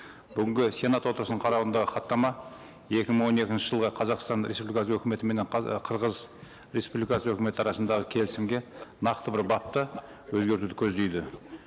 бүгінгі сенат отырысының қарауындағы хаттама екі мың он екінші жылғы қазақстан республикасы өкіметіменен ы қырғыз республикасы өкіметі арасындағы келісімге нақты бір бапты өзгертуді көздейді